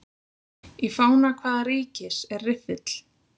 Í fána hvaða ríkis er riffill?